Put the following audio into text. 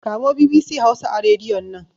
Kamo BBC Hausa a Rediyon nan!